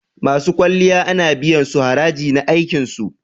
Masu kwalliya ana biyan su haraji na aikin su.